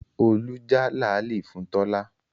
Olú já làálì fún Tọ́lá